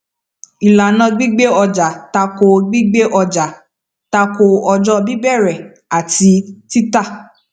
ìlànà gbígbé ọjà tako gbígbé ọjà tako ọjọ bíbẹrẹ àti títa